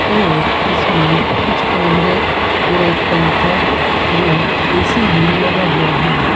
और इसमें कुछ कैमरे और एक पंखा और ए_सी भी लगा हुआ है।